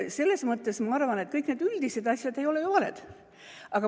Ma arvan, et kõik need üldised asjad ei ole ju valed.